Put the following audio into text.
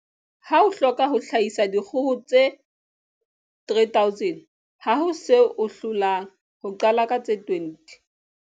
Ha o hloka ho hlahisa dikgoho tse 3 000, ha ho se o hlolang ho qala ka tse 20.